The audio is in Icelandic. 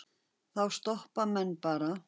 Þá stoppa menn bara.